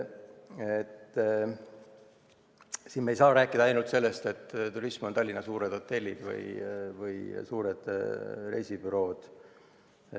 Me ei saa rääkida, et turismi moodustavad ainult Tallinna suured hotellid või suured reisibürood.